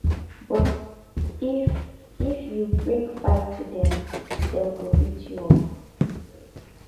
but if if you bring fight to dem dem go beat you up